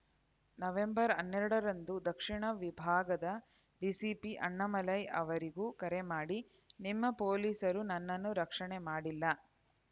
November ಹನ್ನೆರಡರಂದು ದಕ್ಷಿಣ ವಿಭಾಗದ ಡಿಸಿಪಿ ಅಣ್ಣಾಮಲೈ ಅವರಿಗೂ ಕರೆ ಮಾಡಿ ನಿಮ್ಮ ಪೊಲೀಸರು ನನ್ನನ್ನು ರಕ್ಷಣೆ ಮಾಡಿಲ್ಲ